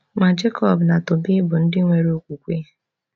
Ma Jacob na Tobe bụ ndị nwere okwukwe.